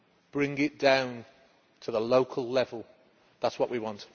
Bring it down to the local level that is what we want.